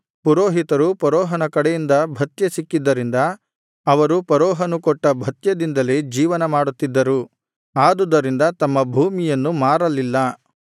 ಪುರೋಹಿತರ ಭೂಮಿಯನ್ನು ಮಾತ್ರ ಅವನು ಕೊಂಡುಕೊಳ್ಳಲಿಲ್ಲ ಪುರೋಹಿತರು ಫರೋಹನ ಕಡೆಯಿಂದ ಭತ್ಯೆ ಸಿಕ್ಕಿದ್ದರಿಂದ ಅವರು ಫರೋಹನು ಕೊಟ್ಟ ಭತ್ಯೆದಿಂದಲೇ ಜೀವನ ಮಾಡುತ್ತಿದ್ದರು ಆದುದರಿಂದ ತಮ್ಮ ಭೂಮಿಯನ್ನು ಮಾರಲಿಲ್ಲ